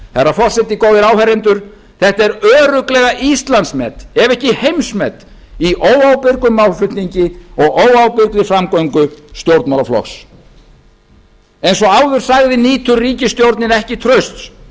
herra forseti góðir áheyrendur þetta er örugglega íslandsmet ef ekki heimsmet í óábyrgum málflutningi og óábyrgri framgöngu stjórnmálaflokks eins og áður sagði nýtur ríkisstjórnin ekki trausts